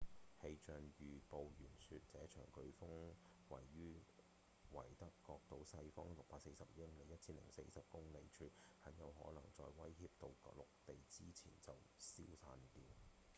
氣象預報員說這場颶風位於維德角島西方645英里1040公里處很有可能在威脅到陸地之前就消散掉